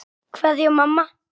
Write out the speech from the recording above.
Kveðja, mamma.